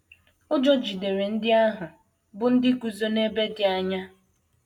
Ụjọ jidere ndị ahụ, bụ́ ndị guzo n’ebe dị anya.